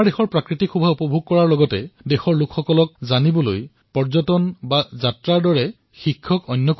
নিজৰ দেশৰ সৌন্দৰ্যতা উপভোগ কৰক আৰু নিজৰ দেশৰ লোকসমূহক বুজাৰ বাবে পৰ্যটন আৰু যাত্ৰাতকৈ অধিক ডাঙৰ শিক্ষক বোধহয় আৰু কোনো হব নোৱাৰে